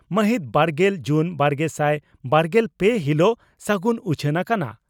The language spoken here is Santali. (ᱢᱟᱹᱦᱤᱛ ᱵᱟᱨᱜᱮᱞ ᱡᱩᱱ ᱵᱟᱨᱜᱮᱥᱟᱭ ᱵᱟᱨᱜᱮᱞ ᱯᱮ ) ᱦᱤᱞᱚᱜ ᱥᱟᱜᱩᱱ ᱩᱪᱷᱟᱹᱱ ᱟᱠᱟᱱᱟ ᱾